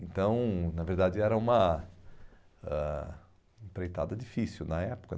Então, na verdade, era uma ãh empreitada difícil na época.